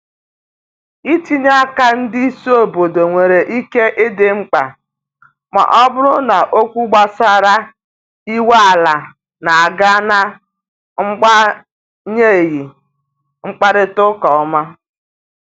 itinye aka ndị isi obodo nwere ike idi mkpa ma ọ bụrụ na okwu gbasara inwe ala n'aga na agbanyeghị mkparịta ụka ọma